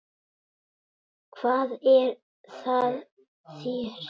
Hvað er að þér?